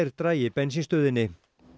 dragi bensínstöðinni